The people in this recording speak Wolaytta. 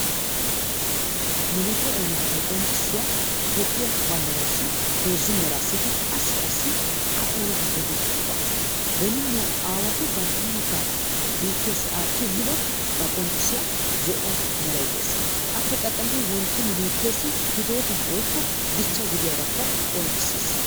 Nu biittee oonatetta qonccissiya toophiyaa banddrassi heezzu merassikka assi assi a onatettay dees giyooga. beni nu aawaati banatettaa biittesi aatti immidooga qonccissiya zo'o meray des, appe qaxallidi wontto nu biittessi hidoota woykko dichcha gidiyagakka qonccissees.